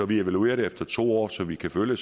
vi evaluerer det efter to år så vi kan følge